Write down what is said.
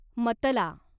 मतला